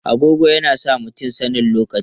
Agogo yana sa mutum sanin lokaci.